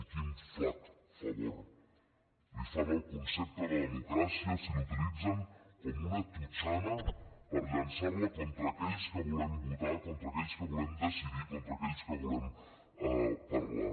i quin flac favor li fan al concepte de democràcia si l’utilitzen com una totxana per llançarla contra aquells que volem votar contra aquells que volem decidir contra aquells que volem parlar